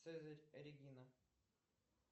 цезарь регина